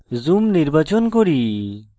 zoom নির্বাচন করি